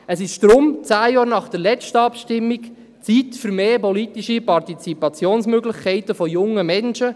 Deshalb ist es, zehn Jahre nach der letzten Abstimmung, Zeit für mehr politische Partizipationsmöglichkeiten für junge Menschen.